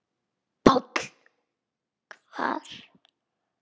PÁLL: Hvar?